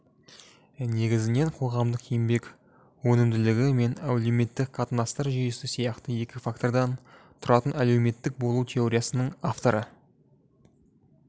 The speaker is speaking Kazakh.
негізінен қоғамдық еңбек өнімділігі мен әлеуметтік қатынастар жүйесі сияқты екі фактордан тұратын әлеуметтік бөлу теориясының авторы